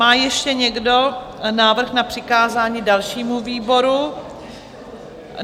Má ještě někdo návrh na přikázání dalšímu výboru?